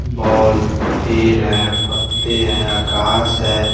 ball पेड हैं पत्ते हैं आकाश हैं--